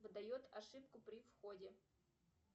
выдает ошибку при входе